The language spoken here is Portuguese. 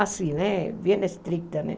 Assim né, bem estrita.